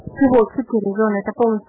кукуруза